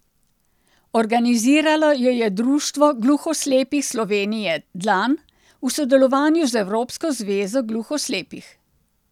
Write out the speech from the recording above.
Organiziralo jo je Društvo gluhoslepih Slovenije Dlan v sodelovanju z Evropsko zvezo gluhoslepih.